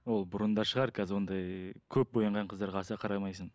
ол бұрында шығар қазір ондай көп боянған қыздарға аса қарамайсың